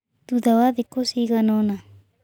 Thutha wa thikũ cigana ũna